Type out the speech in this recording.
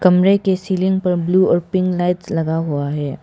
कमरे के सीलिंग पर ब्लू और पिंक लाइट्स लगा हुआ है।